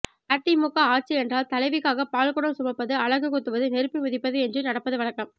அதிமுக ஆட்சி என்றால் தலைவிக்காக பால் குடம் சுமப்பது அலகு குத்துவது நெருப்பு மிதிப்பது என்று நடப்பது வழக்கம்